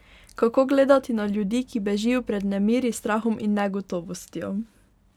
Kako gledati na ljudi, ki bežijo pred nemiri, strahom in negotovostjo?